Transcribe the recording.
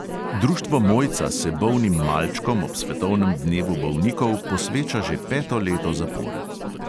Društvo mojca se bolnim malčkom ob svetovnem dnevu bolnikov posveča že peto leto zapored.